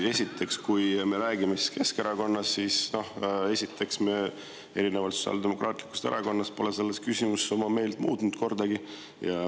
Esiteks, kui me räägime Keskerakonnast, siis me erinevalt Sotsiaaldemokraatlikust Erakonnast pole selles küsimuses oma meelt muutnud kordagi.